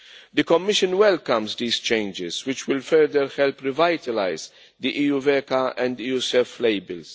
EU. The Commission welcomes these changes which will further help revitalise the EuVECA and EuSEF labels.